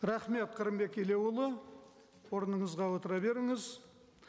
рахмет қырымбек елеуұлы орныңызға отыра беріңіз